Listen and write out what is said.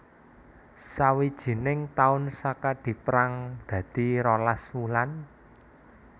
Sawijining taun Saka dipérang dadi rolas wulan